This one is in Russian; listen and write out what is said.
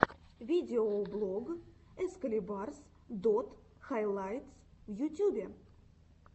видеоблог экскалибарс дот хайлайтс в ютюбе